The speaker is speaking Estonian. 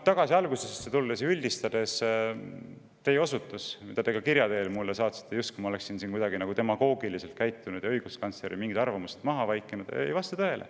Tagasi algusesse tulles ja üldistades, et teie osutus, mille te ka kirja teel mulle saatsite, justkui ma oleksin kuidagi demagoogiliselt käitunud ja õiguskantsleri arvamuse maha vaikinud, ei vasta tõele.